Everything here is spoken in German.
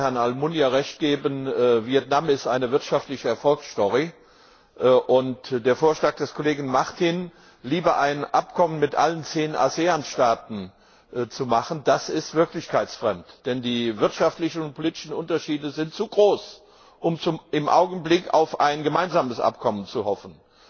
Ich möchte Herrn Almunia Recht geben Vietnam ist eine wirtschaftliche Erfolgsstory, und der Vorschlag des Kollegen Martin, lieber ein Abkommen mit allen zehn ASEAN Staaten zu machen, ist wirklichkeitsfremd, denn die wirtschaftlichen und politischen Unterschiede sind zu groß, um im Augenblick auf ein gemeinsames Abkommen zu hoffen.